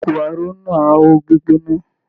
Ìkókó aró náà n ho gbígbóná.